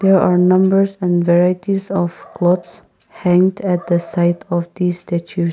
here are numbers and varieties of clothes hanged at the site of the statue.